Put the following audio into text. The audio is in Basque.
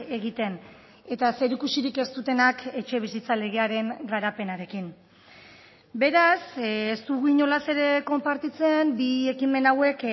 egiten eta zerikusirik ez dutenak etxebizitza legearen garapenarekin beraz ez dugu inolaz ere konpartitzen bi ekimen hauek